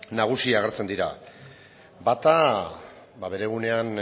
nagusi agertzen dira bata bere egunean